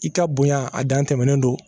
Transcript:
I ka bonya a dan tɛmɛnen don